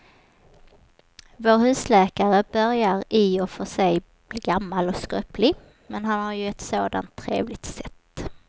Vår husläkare börjar i och för sig bli gammal och skröplig, men han har ju ett sådant trevligt sätt!